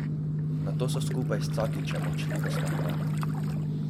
Nato so skupaj s Cakićem odšli v stanovanje.